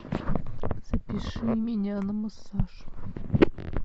запиши меня на массаж